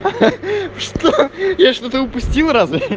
что я что-то упустил разве